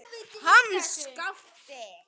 Hann Skapti!